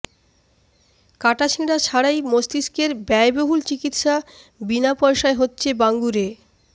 কাটাছেঁড়া ছাড়াই মস্তিষ্কের ব্যয়বহুল চিকিৎসা বিনা পয়সায় হচ্ছে বাঙ্গুরে